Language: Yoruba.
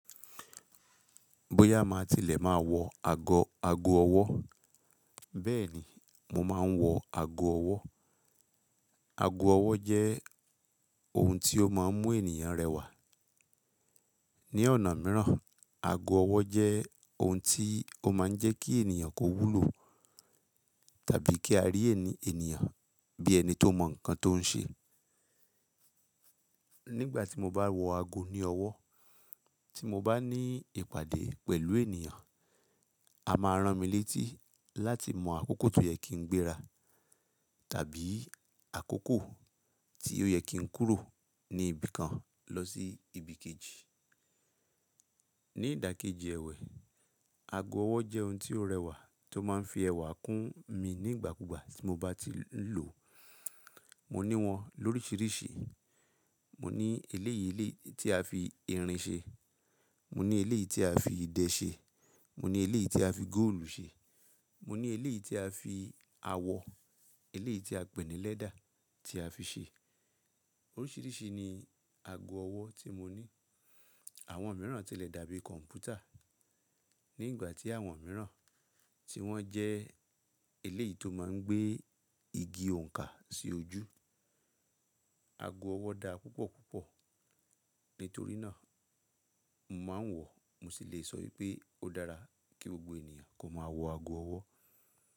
Bóyá má tilẹ̀ má wọ ago ago ọwọ́. Bẹ́ẹ̀ni, mo máa ń wọ ago ọwọ́. Ago ọwọ́ jẹ́ ohun tí ó má a ń mú ènìyàn rẹwà. Ni ọ̀nà míràn, ago ọwọ́ jẹ́ ohun tí ó má ń jẹ́ kí ènìyàn kó wúlò tàbí kí a rí ẹni ènìyàn bí ẹni tó mọ nǹkan tó ń ṣe. Nígbà tí mo bá wọ ago ní ọwọ́, tí mo bá ní ìpàdé pẹ̀lú ènìyàn, a máa rán mi létí láti mọ àkókò tí ó yẹ kí n gbéra tàbí àkókò tí ó yẹ kí n kúrò ní ibìkan lọ sí ibìkejì. Ni ìdàkejì ẹ̀wẹ̀, ago ọwọ́ jẹ́ ohun tí ó rẹwà tó má ń fi ẹwà kún mi nígbàkúgbà tí mo bá ti ń lò. Mo ní wọn lóríṣiríṣi. Mo ní eléyìí tí a fi irin ṣe, mo ní eléyìí tí a fi idẹ ṣe, mo ní eléyìí tí a fi góòlù ṣe, mo ní eléyìí tí a fi awọ, eléyìí tí a pè ní lẹ́dà tí a fi ṣe. Orisirisi ni ago owo ti mo ni àwọn míràn tilẹ̀ dàbí kọ̀ǹpútà. Ni ìgbà ti àwọn míràn tí wọ́n jẹ́ eléyìí tó má ń gbé igi òǹkà sí ojú. Ago owo daa pupopupo. Nítorí náà, mo má ń wọ̀, mo sì lè sọ wipé ó dára kí gbogbo ènìyàn kó máa wọ ago ọwọ́.